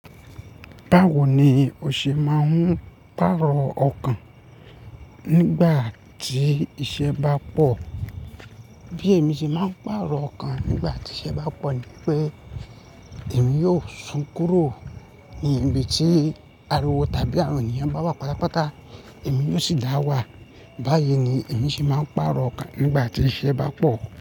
Báwo ni o ṣe máa ń pàrọ̀ ọkàn nígbà tí iṣẹ́ bá pọ̀? Bí èmi ṣe máa ń pàrọ̀ ọkàn nígbà tí iṣẹ́ bá pọ̀ ní pé èmi yóò sún kúrò ní ibi tí ariwo tàbí àwọn ènìyàn bá wà pátápátá, èmi yóò sì dá wà. Báyìí ni èmi ṣe máa ń pàrọ̀ ọkàn nígbà tí iṣẹ́ bá pọ̀